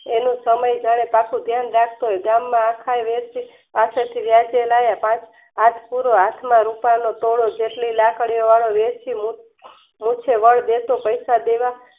એનો સમય જયારે પાકે ત્યારે ગામમાં આખાય વેરશી પાસેથી વ્યાજે લાવે પાંચ હાથ પૂરો હાથમાં રૂપાલનો તોલો સુસ્લિ લાકડીઓ વાળો વેરશી મુખ્ય વડ દેતો પૈસા દેવા